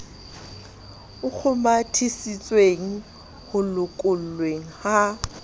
a kgomathisitsweng ho lokollweng ha